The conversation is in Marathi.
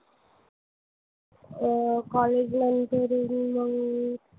अं college life झाली की मंग